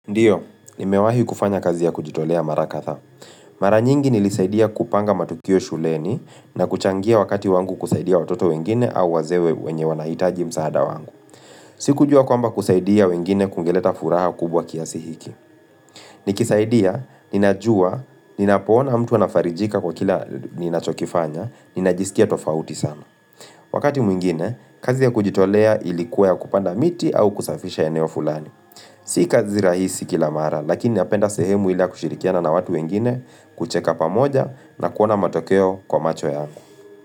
Ndiyo, nimewahi kufanya kazi ya kujitolea mara kadhaa Mara nyingi nilisaidia kupanga matukio shuleni na kuchangia wakati wangu kusaidia watoto wengine au wazee we wenye wanahitaji msaada wangu. Siku jua kwamba kusaidia wengine kungeleta furaha kubwa kiasi hiki. Nikisaidia, ninajua, ninapoona mtu anafarijika kwa kila ninachokifanya, ninajisikia tofauti sana. Wakati mwingine, kazi ya kujitolea ilikuwa ya kupanda miti au kusafisha eneo fulani. Si kazi rahisi kila mara, lakini napenda sehemu ila kushirikiana na watu wengine kucheka pamoja na kuona matokeo kwa macho yangu.